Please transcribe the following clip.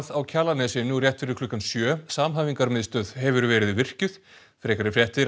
á Kjalarnesi nú rétt fyrir klukkan sjö hefur verið virkjuð frekari fréttir